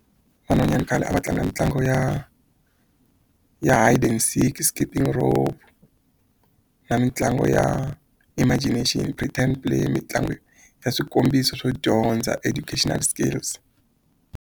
Van'wanyana khale a va tlanga mitlangu ya ya hide and seek, skipping rope na mitlangu ya imagination, mitlangu ya swikombiso swo dyondza educational skills.